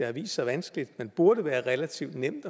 har vist sig vanskeligt men burde være relativt nemt